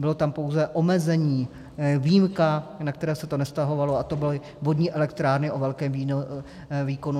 Bylo tam pouze omezení, výjimka, na které se to nevztahovalo, a to byly vodní elektrárny o velké výkonu.